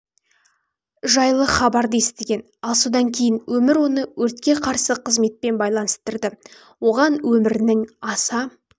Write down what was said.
жайлы хабарды естіген ал содан кейін өмір оны өртке қарсы қызметпен байланыстырды оған өмірінің аса